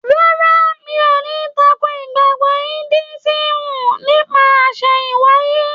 Rárá, mi ò ní tako ìgbàgbọ́ Indúísìm nípa àsẹ̀hìn wáyé.